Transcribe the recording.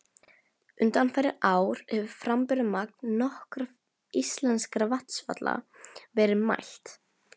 Undanfarin ár hefur framburðarmagn nokkurra íslenskra vatnsfalla verið mælt.